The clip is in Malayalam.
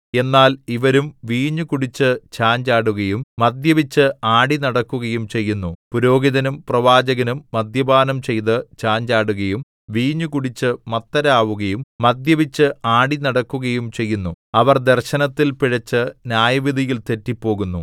എന്നാൽ ഇവരും വീഞ്ഞു കുടിച്ചു ചാഞ്ചാടുകയും മദ്യപിച്ച് ആടിനടക്കുകയും ചെയ്യുന്നു പുരോഹിതനും പ്രവാചകനും മദ്യപാനം ചെയ്തു ചാഞ്ചാടുകയും വീഞ്ഞു കുടിച്ചു മത്തരാവുകയും മദ്യപിച്ച് ആടിനടക്കുകയും ചെയ്യുന്നു അവർ ദർശനത്തിൽ പിഴച്ചു ന്യായവിധിയിൽ തെറ്റിപ്പോകുന്നു